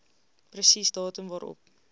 presies datum waarop